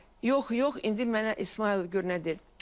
Yox, yox, indi mənə İsmayıl gör nə deyir.